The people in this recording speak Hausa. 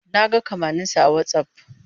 Na ga kamanninsa a Whatsapp.